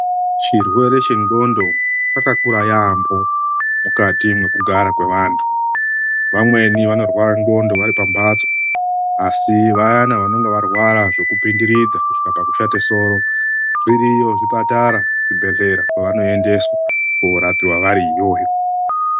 CHIRWERE CHENDXONDO CHAKAKURA YAAMHO MUKATI MEKUGARA kWEVANHU. VAMWENI VANORWARA NDXONTO VARIPAMHATSO ASI VAYANA VANONGA VARWARAZVEKUPINDIRIDZA KUSVIKA PAKUSHATA SORO ZVIRIYO ZVIPATARA, ZVIBEHLERA ZVAVANOENDESWA KORAPIWA VARIIYOYO.